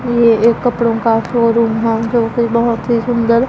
ये एक कपड़ो का शोरूम हैं जो बहोत ही सुंदर--